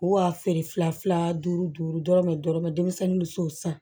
Wa feere fila fila duuru duuru dɔrɔmɛ dɔrɔmɛ denmisɛnnin bɛ se o san